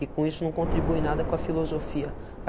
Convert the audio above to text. E com isso não contribui nada com a filosofia.